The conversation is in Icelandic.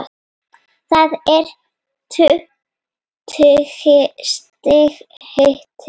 Það er tuttugu stiga hiti.